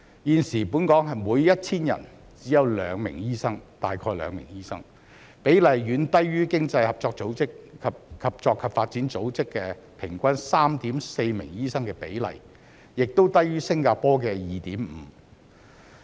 現時本港每 1,000 人只有約2名醫生，比例遠低於經濟合作與發展組織平均 3.4 名醫生的比例，亦低於新加坡的 2.5 名。